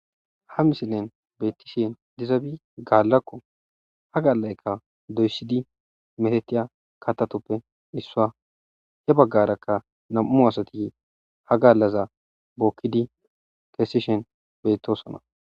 ha misilen bettishen dizabi gaallakko ha gaalaykka doysidi metetiya katatoppe issua he baggarakka nam7u asati ha gallaza bookkidi kesishen beyttosona